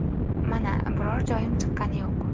Mana, biror joyim chiqqani yo‘q.